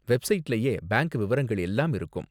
வெப்சைட்லயே bank விவரங்கள் எல்லாம் இருக்கும்.